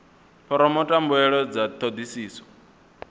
phoromotha mbuelo dza thodisiso uri